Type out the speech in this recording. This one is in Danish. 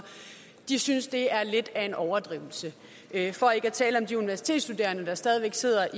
synes det er lidt af en overdrivelse for ikke at tale om de universitetsstuderende der stadig væk sidder